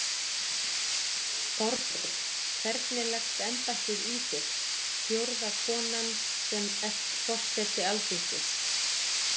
Þorbjörn: Hvernig leggst embættið í þig, fjórða konan sem ert forseti Alþingis?